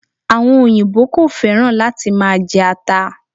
Àwon òyìbó ko féràn láti ma je ata